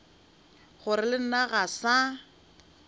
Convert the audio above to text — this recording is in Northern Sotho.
gore le nna ga sa